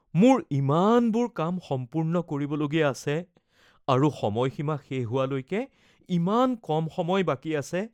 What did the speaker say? মোৰ ইমানবোৰ কাম সম্পূৰ্ণ কৰিবলগীয়া আছে আৰু সময়সীমা শেষ হোৱালৈকে ইমান কম সময় বাকী আছে।